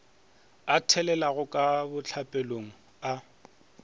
a thelela ka bohlapelong a